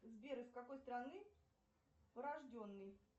сбер из какой страны порожденный